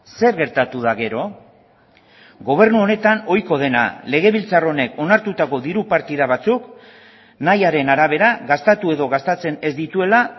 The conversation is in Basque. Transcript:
zer gertatu da gero gobernu honetan ohiko dena legebiltzar honek onartutako diru partida batzuk nahiaren arabera gastatu edo gastatzen ez dituela